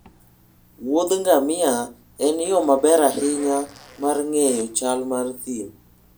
Wuodh ngamia en yo maber ahinya mar ng'eyo chal mar thim.